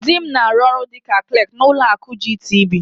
Dị m na-arụ ọrụ dịka Klak n'ụlọ akụ GTB.